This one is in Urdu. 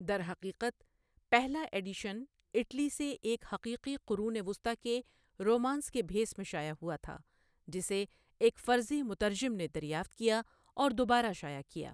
درحقیقت، پہلا ایڈیشن اٹلی سے ایک حقیقی قرون وسطی کے رومانس کے بھیس میں شائع ہوا تھا، جسے ایک فرضی مترجم نے دریافت کیا اور دوبارہ شائع کیا۔